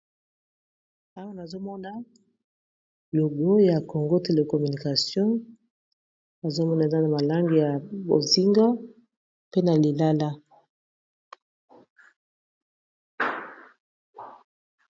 awa nazomona logo ya congo telecommunication azomona eza na malange ya bozingo pe na lilala